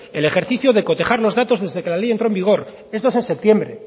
el ejercicio de cotejar los datos desde que la ley entró en vigor esto es en septiembre